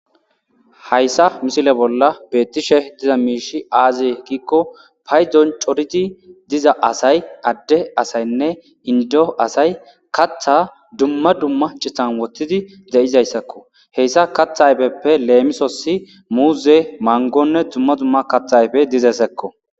Hayissa misile bollani betishe dizza mishi aze gidda gidiko payidoni cooridi diza assayi ade asayine indo assayi katha duma duma citani wothidi dizayissako he katha ayifeppe lemisosi muze manigone duma duma katha ayipe dizayissako